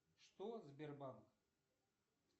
что сбербанк